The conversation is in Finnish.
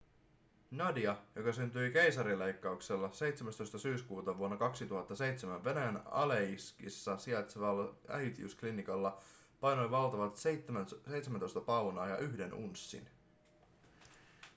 nadia joka syntyi keisarinleikkauksella 17 syyskuuta vuonna 2007 venäjän aleiskissa sijaitsevalla äitiysklinikalla painoi valtavat 17 paunaa ja 1 unssin